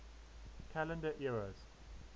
calendar eras